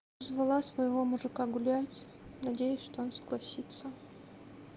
звала своего мужика гулять надеюсь что он согласится